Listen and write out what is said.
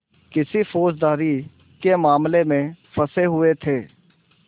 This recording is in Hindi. किसी फौजदारी के मामले में फँसे हुए थे